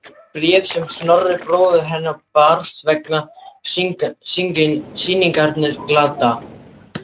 Bréf sem Snorra bróður hennar barst vegna sýningarinnar gladdi